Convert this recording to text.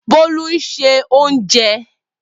Bolu n se ounje.